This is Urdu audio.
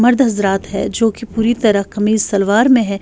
.مرد حضرات ہیں جو کی پوری ترہ کمز سلور مے ہیں